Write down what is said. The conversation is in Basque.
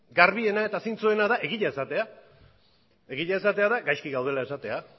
garbiena eta zintzoena da egia esatea egia esatea da gaizki gaudela esatea